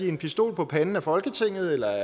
en pistol for panden af folketinget eller